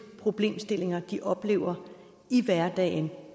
problemstillinger de oplever i hverdagen